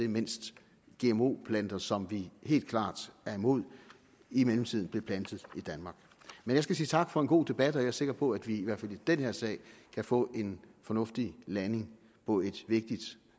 mens gmo planter som vi helt klart er imod i mellemtiden blev plantet i danmark men jeg skal sige tak for en god debat jeg er sikker på at vi i hvert fald i den her sag kan få en fornuftig landing på et vigtigt